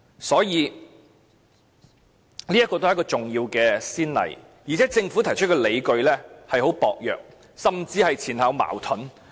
所以，這也是一次重要先例，而且政府提出的理據亦很薄弱，甚至前後矛盾。